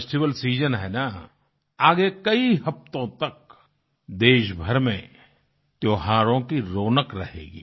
festival season है ना आगे कई हफ़्तों तक देश भर में त्योहारों की रौनक रहेगी